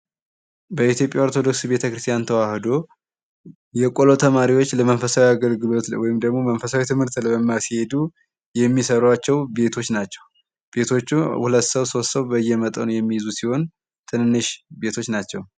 በኢትዮጵያ ኦርቶዶክስ ቤተ ክርስቲያን ተዋህዶ የቆሎ ተማሪዎች ለመንፈሳዊ አገልግሎት ወይም ደግሞ መንፈሳዊ ትምህርት ለመማር ስሄዱ የሚሰሯቸው ቤቶች ናቸው። ቤቶቹ ሁለት ሰው ሦስት ሰው በየመጠኑ የሚይዙ ሲሆን ትንንሽ ቤቶች ናቸው።